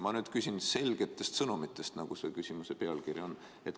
Ma küsin selgete sõnumite kohta, nagu ka küsimuse pealkiri on.